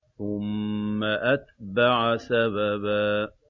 ثُمَّ أَتْبَعَ سَبَبًا